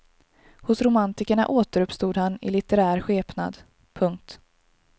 Hos romantikerna återuppstod han i litterär skepnad. punkt